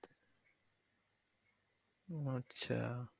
আচ্ছা।